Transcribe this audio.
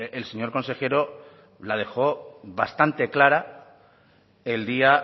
el señor consejero la dejó bastante clara el día